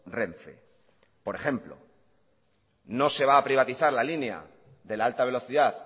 renfe por ejemplo no se va a privatizar la línea de la alta velocidad